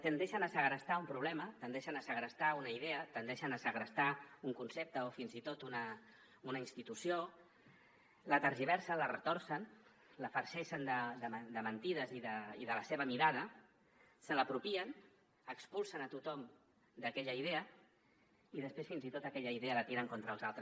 tendeixen a segrestar un problema tendeixen a segrestar una idea tendeixen a segrestar un concepte o fins i tot una institució la tergiversen la retorcen la farceixen de mentides i de la seva mirada se l’apropien expulsen a tothom d’aquella idea i després fins i tot aquella idea la tiren contra els altres